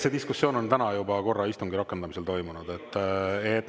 See diskussioon on täna juba korra istungi rakendamisel toimunud.